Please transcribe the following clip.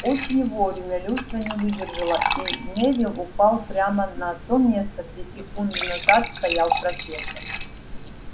очень вовремя люстра не выдержала и невилл упал прямо на то место где секунду назад стоял профессор